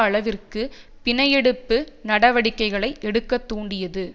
அளவிற்கு பிணையெடுப்பு நடவடிக்கைகளை எடுக்க தூண்டியது